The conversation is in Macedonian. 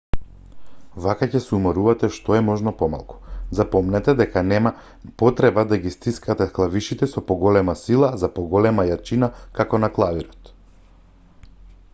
вака ќе се уморувате што е можно помалку запомнете дека нема потреба да ги стискате клавишите со поголема сила за поголема јачина како на клавирот